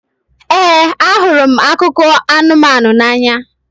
Ee, ahụrụ m akụkọ anụmanụ n'anya.